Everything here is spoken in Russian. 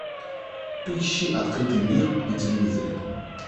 поищи открытый мир на телевизоре